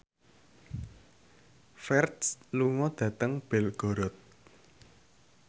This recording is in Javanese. Ferdge lunga dhateng Belgorod